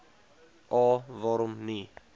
a waarom nie